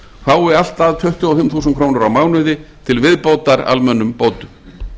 fái allt að tuttugu og fimm þúsund krónur á mánuði til viðbótar almennum bótum